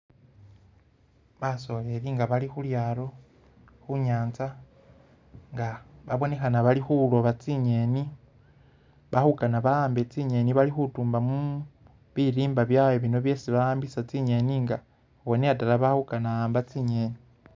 Basoleli nga bali khu lyaato khu'nyaanza nga babonekhana bali khuloba tsi'ngeni bali khukana ba'ambe tsi'ngeni bali khutumamu bilimba byabwe bino byesi ba'ambisa tsi'ngeni nga ubonela dala bali khukana khu'amba tsi'ngeni.